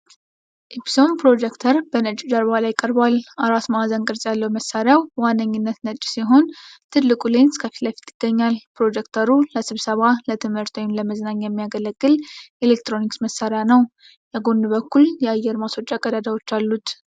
ኢፕሶን ፕሮጀክተር በነጭ ጀርባ ላይ ቀርቧል። አራት ማዕዘን ቅርጽ ያለው መሳሪያው በዋነኛነት ነጭ ሲሆን፣ ትልቁ ሌንስ ከፊት ለፊት ይገኛል። ፕሮጀክተሩ ለስብሰባ፣ ለትምህርት ወይም ለመዝናኛ የሚያገለግል የኤሌክትሮኒክስ መሳሪያ ነው። የጎን በኩል የአየር ማስወጫ ቀዳዳዎች አሉት።